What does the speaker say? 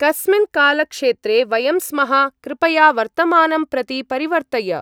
कस्मिन् कालक्षेत्रे वयं स्मः, कृपया वर्तमानं प्रति परिवर्तय।